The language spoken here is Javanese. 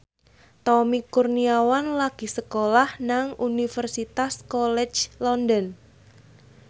Tommy Kurniawan lagi sekolah nang Universitas College London